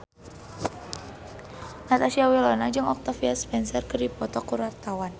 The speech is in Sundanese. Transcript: Natasha Wilona jeung Octavia Spencer keur dipoto ku wartawan